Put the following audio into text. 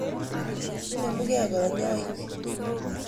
Inemu kei kanyoik .